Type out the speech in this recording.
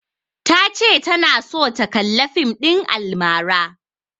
Ta ce tana so ta kalla fim ɗin almara.